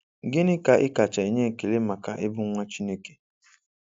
Gịnị ka ị kacha enye ekele maka ịbụ nwa Chineke?"